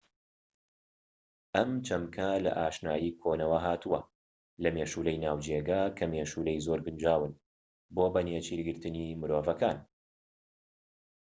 ئەم چەمکە لە ئاشنایی کۆنەوە هاتووە لە مێشولەی ناوجێگا کە مێشولەی زۆر گونجاون بۆ بە نێچیرگرتنی مرۆڤەکان